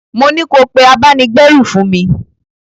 Mo ní ko pé abáni-gbérù fún mi!